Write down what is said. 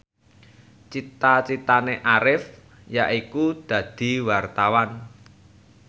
cita citane Arif yaiku dadi wartawan